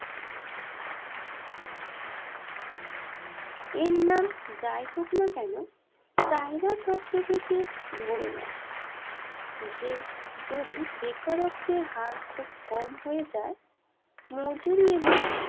এর নাম যাই হোক না কেন চাহিদা তত্ত্ব থেকে ধরে নেয় যে যদি বেকারত্বের হার খুব কম হয়ে যায় মজুরি এবং